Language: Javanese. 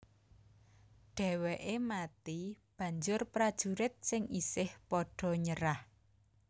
Dhèwèké mati banjur prajurit sing isih padha nyerah